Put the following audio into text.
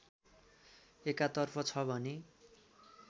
एकातर्फ छ भने